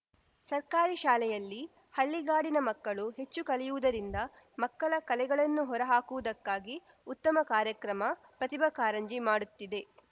ಸರ್ಕಾರಿ ಶಾಲೆಯಲ್ಲಿ ಹಳ್ಳಿಗಾಡಿನ ಮಕ್ಕಳು ಹೆಚ್ಚು ಕಲಿಯುವುದರಿಂದ ಮಕ್ಕಳ ಕಲೆಗಳನ್ನು ಹೊರ ಹಾಕುವುದಕ್ಕೆ ಉತ್ತಮ ಕಾರ್ಯಕ್ರಮ ಪ್ರತಿಭಾ ಕಾರಂಜಿ ಮಾಡುತ್ತಿದೆ